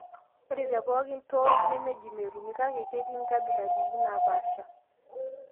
ore te pookin TOS nemeji metumi kake ketii nkabilatin naapasha